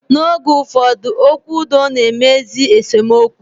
Na oge ụfọdụ, okwu udo na-emezi esemokwu